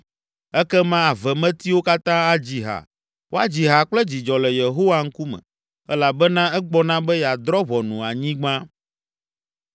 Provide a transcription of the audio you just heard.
Ekema avemetiwo katã adzi ha Woadzi ha kple dzidzɔ le Yehowa ŋkume, Elabena egbɔna be yeadrɔ̃ ʋɔnu anyigba.